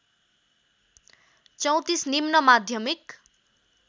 ३४ निम्न माध्यमिक